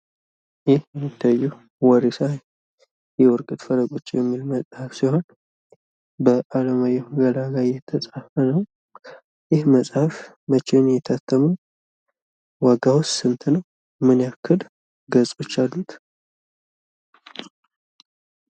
ይህ የሚታየው "ወሪሳ የውድቀት ፈለጎች" የሚል መፅሐፍ ሲሆን በአለማየሁ ገላጋይ የተፃፈ ነው። ይህ መፅሐፍ መቼ ነው የታተመው? ዋጋውስ ስንት ነው? ምን ያክል ገፆች አሉት?